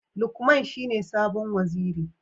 Lukman shine sabon Waziri.